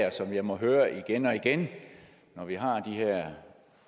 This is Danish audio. og som jeg må høre igen og igen når vi har de her